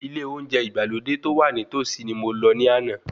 Ilé oúnjẹ ìgbàlódé tó wà ní tòsí ni mo lọ ní àná.